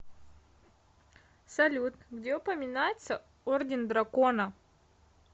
салют где упоминается орден дракона